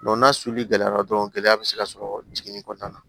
n'a gɛlɛyara dɔrɔn gɛlɛya bɛ se ka sɔrɔ jiginni kɔnɔna na